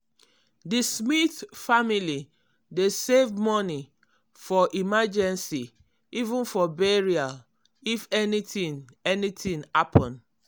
di smith family dey save money for emergency even for burial if anything anything happen.